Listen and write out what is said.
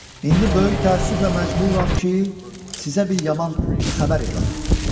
İndi böyük təəssüflə məcburam ki, sizə bir yaman xəbər elan edim.